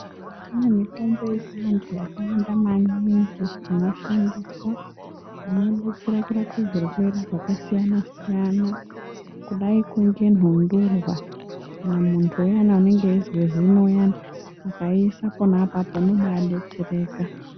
Kune mitombo yechianthu yakawanda maningi inoshandiswa, inodetsera kurape zvirwere zvakasiyana-siyana, kudai ko ngenthundurwa, kana munthu uyani unenge eizwe zino uyani, akaiisa pona apapo unobaa detsereka.